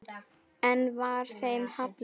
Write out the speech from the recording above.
Enn var þeim hafnað.